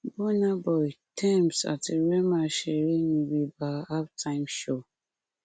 bùnà boy tems àti rema ṣeré níbi nba halftime show